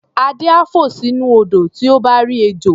Adé á fò sínú odò tí ó bá rí ejò.